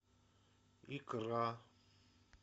икра